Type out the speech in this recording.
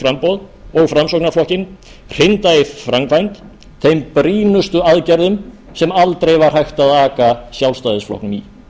framboð og framsóknarflokkinn hrinda í framkvæmd þeim brýnustu aðgerðum sem aldrei var hægt að aka sjálfstæðisflokknum í